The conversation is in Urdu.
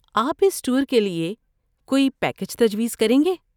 آپ اس ٹور کے لیے کوئی پیکیج تجویز کریں گے؟